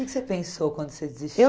O que você pensou quando você desistiu?